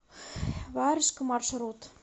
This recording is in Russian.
варежка маршрут